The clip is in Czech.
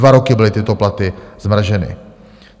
Dva roky byly tyto platy zmrazeny.